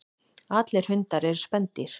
Allir hundar eru spendýr.